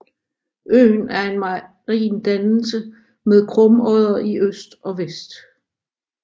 Øen er en marin dannelse med krumodder i øst og vest